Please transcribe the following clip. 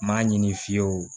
N m'a ɲini fiyewu